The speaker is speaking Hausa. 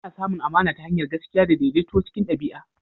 Ana samun amana ta hanyar gaskiya da daidaito cikin ɗabi'a.